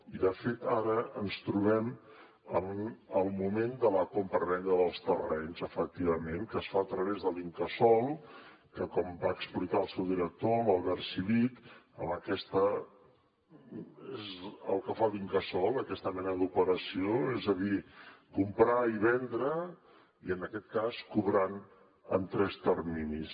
i de fet ara ens trobem en el moment de la compravenda dels terrenys efectivament que es fa a través de l’incasòl que com va explicar el seu director l’albert civit és el que fa l’incasòl amb aquesta mena d’operacions és a dir comprar i vendre i en aquest cas cobrant en tres terminis